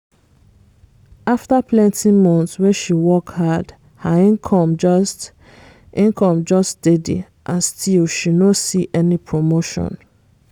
after plenty months wey she work hard her income just income just steady and still she no see any promotion